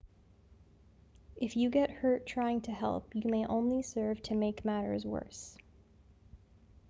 if you get hurt trying to help you may only serve to make matters worse